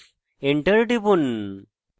enter টিপুন